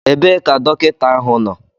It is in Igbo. Ebee ka dọkịta ahu nọ?